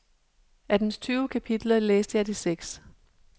Af dens tyve kapitler læste jeg de seks.